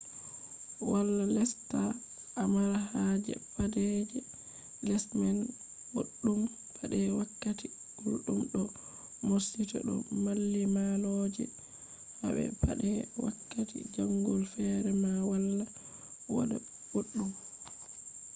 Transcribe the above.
wala lesta a mara haje pade je les man boddum pade wakkati guldum do morsita do mallimalloje habe pade wakkati jangol fere ma wala wada boddum